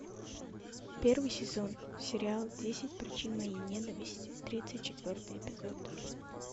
первый сезон сериал десять причин моей ненависти тридцать четвертый эпизод